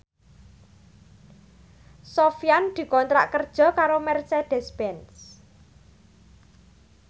Sofyan dikontrak kerja karo Mercedez Benz